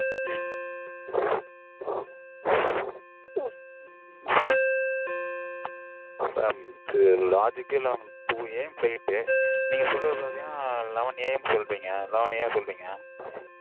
உம் mam logic -ஏ இல்லாம twoA. Mflight. நீங்க சொல்றது பாத்தீங்கனா elevenA. M சொல்றீங்க elevenA. M சொல்றீங்க